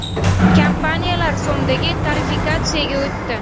Kompaniyalar so‘mdagi tarifikatsiyaga o‘tdi.